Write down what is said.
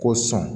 K'o sɔn